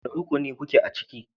Wane rukuni kuke ciki?